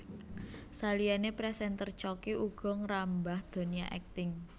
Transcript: Saliyané présènter Choky uga ngrambah donya akting